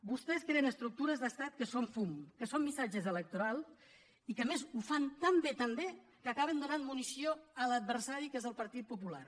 vostès creen estructures d’estat que són fum que són missatges electorals i que a més ho fan tan bé tan bé que acaben donant munició a l’adversari que és el partit popular